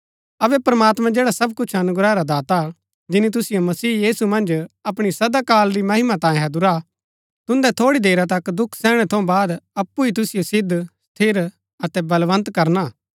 अबै प्रमात्मां जैडा सब अनुग्रह रा दाता हा जिनी तुसिओ मसीह मन्ज अपणी सदा काल री महिमा तांयें हैदुरा हा तुन्दै थोड़ी देरा तक दुख सैहणै थऊँ बाद अप्पु ही तुसिओ सिद्ध स्थिर अतै बलवन्त करणा